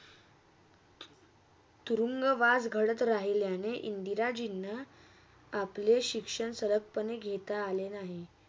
तुरुंगवास घडत राहिल्याने इंदिराजिंन आपले शिक्षण सरल पणे घेता आले नाही